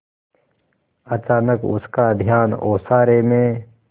अचानक उसका ध्यान ओसारे में